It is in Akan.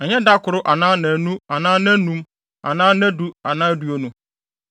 Ɛnyɛ da koro anaa nnaanu anaa nnaanum anaa nnadu anaa aduonu!